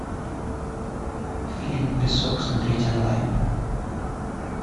фильм песок смотреть онлайн